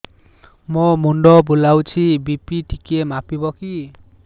ମୋ ମୁଣ୍ଡ ବୁଲାଉଛି ବି.ପି ଟିକିଏ ମାପିବ କି